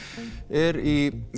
er í